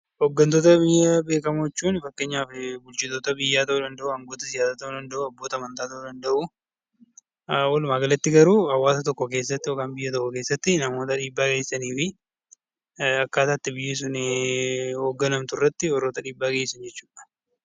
Hooggantoota beekamoo jechuun fakkeenyaaf bulchitoota biyyaa ta'uu danda'u abboota amantaa ta'uu danda'u walumaa galatti garuu hawaasa tokko keessatti namoota dhiibbaa geessisanii fi akkaataa biyyi sun ittiin hoogganamtu irratti warreen hirmaatan jechuudha